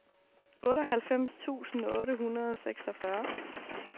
otteoghalvfems tusind otte hundrede og seksogfyrre